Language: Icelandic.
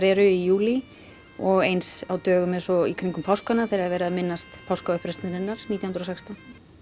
eru í júlí og eins á dögum eins og í kringum páskana þegar það er verið að minnast nítján hundruð og sextán